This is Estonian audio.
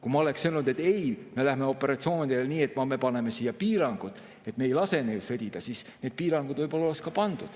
Kui ma oleksin öelnud, et ei, me läheme operatsioonidele nii, et me paneme piirangud, et me ei lase neil sõdida, siis need piirangud võib-olla oleks ka pandud.